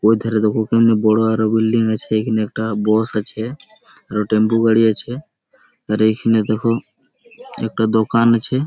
ওই ধারে দেখো কেমন বড়ো আরো বিল্ডিং আছে এখানে একটা বস আছে টেম্পু গাড়ি আছে আর এখানে দেখো একটা দোকান আছে।